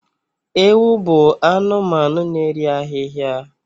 Ewi bụ anụmanụ na-eri ahịhịa